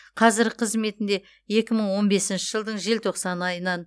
қазіргі қызметінде екі мың он бесінші жылдың желтоқсан айынан